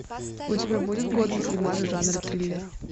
у тебя будет годный фильмас в жанре триллер